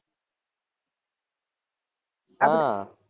હાં